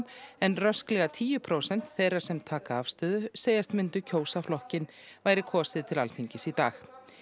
en rösklega tíu prósent þeirra sem taka afstöðu segjast myndu kjósa flokkinn væri kosið til Alþingis í dag